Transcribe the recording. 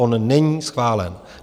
On není schválen.